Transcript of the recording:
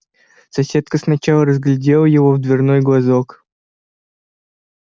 соседка сначала разглядела его в дверной глазок